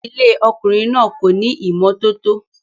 Ilé ọkùnrin náà kò ní ìmọ́tótó